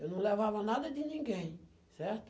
Eu não levava nada de ninguém, certo?